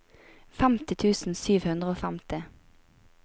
femti tusen sju hundre og femti